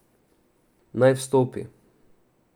Naj vstopi?